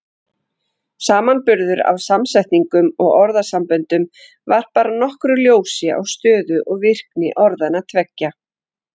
Samanburður á samsetningum og orðasamböndum varpar nokkru ljósi á stöðu og virkni orðanna tveggja.